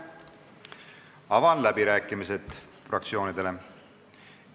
Avan läbirääkimised fraktsioonidele.